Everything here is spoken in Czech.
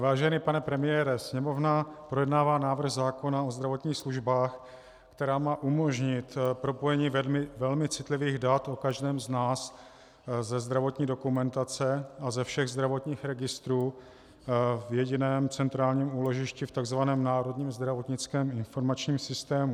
Vážený pane premiére, Sněmovna projednává návrh zákona o zdravotních službách, který má umožnit propojení velmi citlivých dat o každém z nás ze zdravotní dokumentace a ze všech zdravotních registrů v jediném centrálním úložišti, v tzv. Národním zdravotnickém informačním systému.